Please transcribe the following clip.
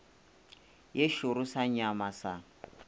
ye šoro sa nyama sa